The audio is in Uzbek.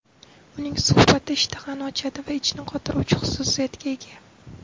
Uning sharbati ishtahani ochadi va ichni qotiruvchi xususiyatga ega.